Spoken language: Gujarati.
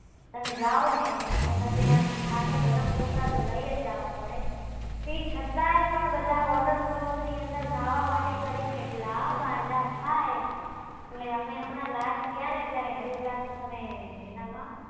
તમે જાવ ને એટલે તમને આમ સાથે ગરમ કપડાં તો લઈ જ જાવા પડે તે છતાય પણ બધા Waterfalls ની અંદર ન્હાવા માટે કરીને એટલા ગાંડા થાય એટલે અમે હમણા last ગ્યાને ત્યારે હરિદ્વારથી તમે એનામાં